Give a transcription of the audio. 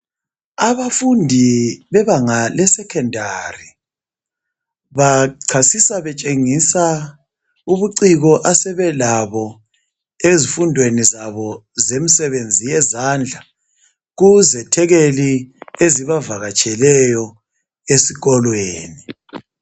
Abafundi bebanga lesekhondari bachasisa betshengisa ubuciko asebelabo ezifundweni zabo zemisebenzi yezandla kuzethekeli ezibavakatsheleyo esikolweni.